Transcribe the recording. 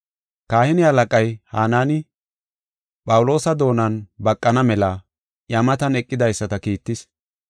Kahine halaqay Hanaani, Phawuloosa doonan baqana mela iya matan eqidaysata kiittis.